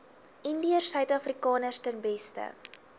indiërsuidafrikaners ten beste